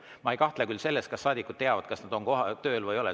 Ma ei kahtle selles, kas saadikud teavad, kas nad on tööl või ei ole.